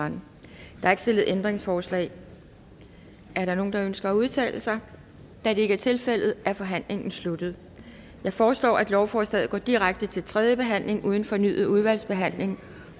der er ikke stillet ændringsforslag er der nogen der ønsker at udtale sig da det ikke er tilfældet er forhandlingen sluttet jeg foreslår at lovforslaget går direkte til tredje behandling uden fornyet udvalgsbehandling